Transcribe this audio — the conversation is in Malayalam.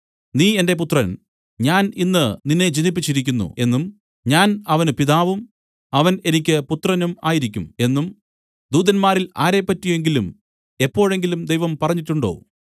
നീ എന്റെ പുത്രൻ ഞാൻ ഇന്ന് നിന്നെ ജനിപ്പിച്ചിരിക്കുന്നു എന്നും ഞാൻ അവന് പിതാവും അവൻ എനിക്ക് പുത്രനും ആയിരിക്കും എന്നും ദൂതന്മാരിൽ ആരെപ്പറ്റിയെങ്കിലും എപ്പോഴെങ്കിലും ദൈവം പറഞ്ഞിട്ടുണ്ടോ